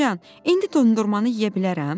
Nənəcan, indi dondurmanı yeyə bilərəm?